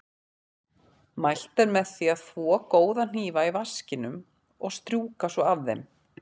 Mælt er með því að þvo góða hnífa í vaskinum og strjúka svo af þeim.